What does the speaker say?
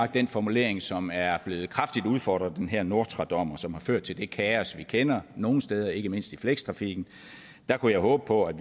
den formulering som er blevet kraftigt udfordret af den her nortra dom som har ført til det kaos vi kender nogle steder og ikke mindst i flekstrafikken der kunne jeg håbe på at